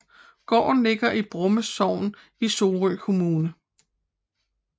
Gården ligger i Bromme Sogn i Sorø Kommune